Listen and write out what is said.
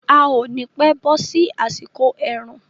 A ò ni pẹ́ bọ́ sí àsìkò ẹ̀rùn.